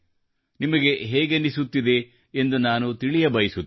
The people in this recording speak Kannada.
ನಿಮಗೆ ಹೇಗನಿಸುತ್ತಿದೆ ಎಂದು ನಾನು ತಿಳಿಯಬಯಸುತ್ತೇನೆ